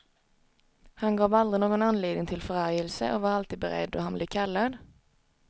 Han gav aldrig någon anledning till förargelse och var alltid beredd då han blev kallad.